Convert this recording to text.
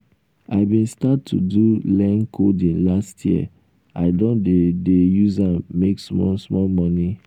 i bin start to do learn coding last year i don dey dey use am make small small moni.